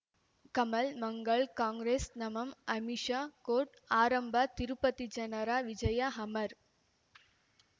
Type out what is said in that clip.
Kamal Mangal Congress ನಮಃ Amish court ಆರಂಭ ತಿರುಪತಿ ಜನರ ವಿಜಯ ಅಮರ್